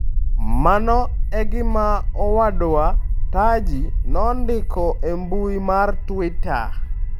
Mano e gima owadwa Taji nondiko e mbui mar Twitter.